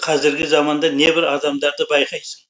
қазіргі заманда небір адамдарды байқайсың